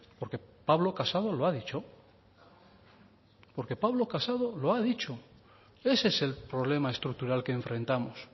porque pablo casado lo ha dicho porque pablo casado lo ha dicho ese es el problema estructural que enfrentamos